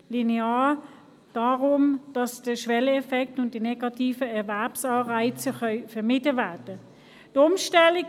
Linear, damit der Schwelleneffekt und die negativen Erwerbsanreize vermieden werden können.